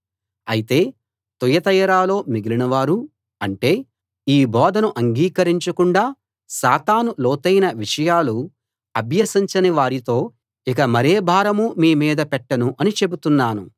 అయితే తుయతైరలో మిగిలినవారు అంటే ఈ బోధను అంగీకరించకుండా సాతాను లోతైన విషయాలు అభ్యసించని వారితో ఇక మరే భారమూ మీ మీద పెట్టను అని చెబుతున్నాను